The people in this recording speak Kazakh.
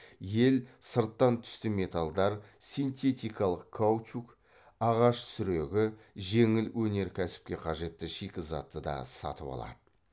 ел сырттан түсті металдар синтетикалық каучук ағаш сүрегі жеңіл өнеркәсіпке қажетті шикізатты да сатып алады